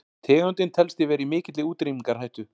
tegundin telst því vera í mikilli útrýmingarhættu